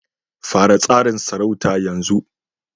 Fara tsarin sarauta yanzu